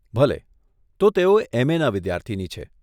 ભલે, તો તેઓ એમએનાં વિદ્યાર્થીની છે.